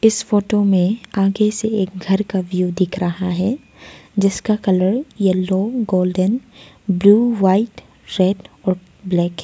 इस फोटो में आगे से एक घर का व्यू दिख रहा है जिसका colour yellow golden blue white red और ब्लैक है।